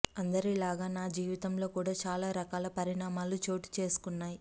అందరి లాగా నా జీవితంలో కూడా చాలా రకాల పరిణామాలు చోటు చేసుకున్నాయి